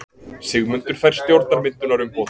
Sigmundur fær stjórnarmyndunarumboð.